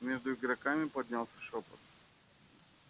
между игроками поднялся шёпот